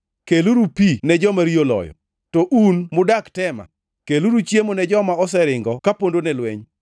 keluru pi ne joma riyo oloyo, to un mudak Tema, keluru chiemo ne joma oseringo ka pondone lweny.